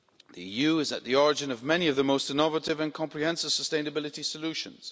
The EU is at the origin of many of the most innovative and comprehensive sustainability solutions.